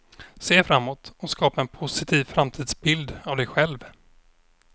Se framåt och skapa en positiv framtidsbild av dig själv.